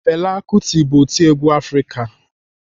Fela kuti bụ otiegwu Afrịka.